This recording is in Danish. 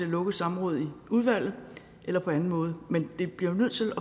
lukket samråd i udvalget eller på anden måde men vi bliver jo nødt til